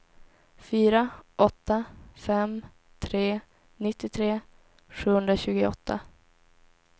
fyra åtta fem tre nittiotre sjuhundratjugoåtta